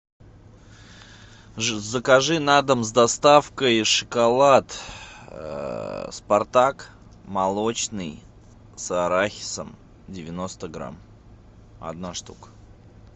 закажи на дом с доставкой шоколад спартак молочный с арахисом девяносто грамм одна штука